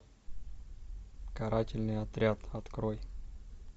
карательный отряд открой